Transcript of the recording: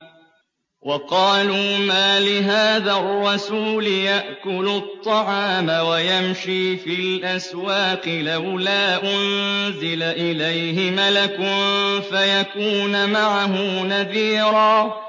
وَقَالُوا مَالِ هَٰذَا الرَّسُولِ يَأْكُلُ الطَّعَامَ وَيَمْشِي فِي الْأَسْوَاقِ ۙ لَوْلَا أُنزِلَ إِلَيْهِ مَلَكٌ فَيَكُونَ مَعَهُ نَذِيرًا